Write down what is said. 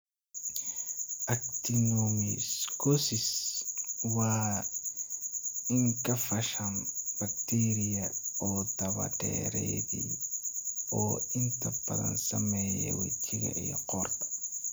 Actinomycosis waa infakshan bakteeriya oo daba-dheeraaday oo inta badan saameeya wejiga iyo qoorta.